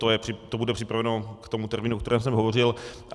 To bude připraveno k tomu termínu, o kterém jsem hovořil.